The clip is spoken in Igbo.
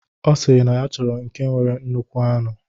Ọ sịrị na ya chọrọ nke nwere nnukwu anụ.